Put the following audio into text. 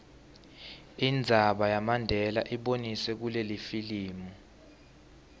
indzaba yamandela iboniswe kulelifilimu